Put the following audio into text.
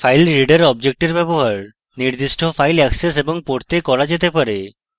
filereader অবজেক্টের ব্যবহার নির্দিষ্ট file অ্যাক্সেস এবং পড়তে করা যেতে পারে